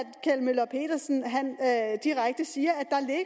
kjeld møller pedersen direkte siger